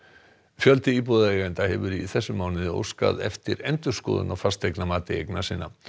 fjöldi íbúðaeigenda hefur í þessum mánuði óskað eftir endurskoðun á fasteignamati eigna sinna